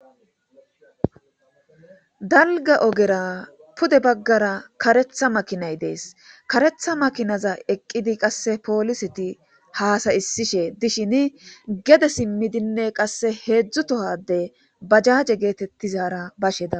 Dalga ogera pude baggara karetha makinay dees karetha makinaza eqqidi qasse pooliseti haasayisishe dishin gede simmidinne qasse heedzdzutohade bajaje geetettizaara basheda.